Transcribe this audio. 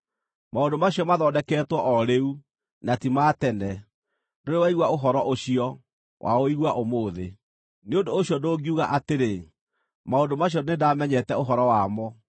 Maũndũ macio mathondeketwo o rĩu, na ti ma tene; ndũrĩ waigua ũhoro ũcio, waũigua ũmũthĩ. Nĩ ũndũ ũcio ndũngiuga atĩrĩ, ‘Maũndũ macio nĩndamenyete ũhoro wamo.’